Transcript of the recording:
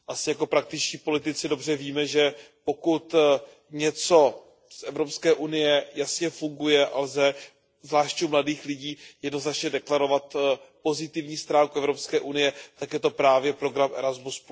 Jako praktičtí politici asi dobře víme, že pokud něco z Evropské unie jasně funguje a lze, zvláště u mladých lidí, jednoznačně deklarovat pozitivní stránku Evropské unie, tak je to právě program Erasmus.